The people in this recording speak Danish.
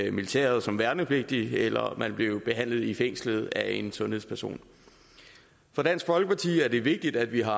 i militæret som værnepligtig eller blev behandlet i fængslet af en sundhedsperson for dansk folkeparti er det vigtigt at vi har